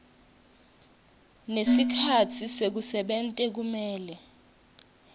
nesikhatsi sekusebenta kumele